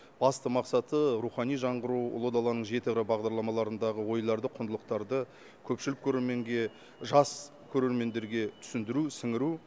басты мақсаты рухани жаңғыру ұлы даланың жеті қыры бағдарламаларындағы ойларды құндылықтарды көпшілік көрерменге жас көрермендерге түсіндіру сіңіру